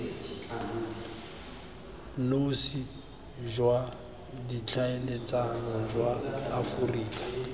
nosi jwa ditlhaeletsano jwa aforika